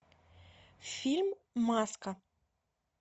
фильм маска